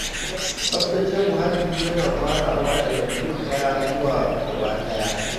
Tsaftace muhalli yana farawa daga mutum ɗaya zuwa gaba ɗaya.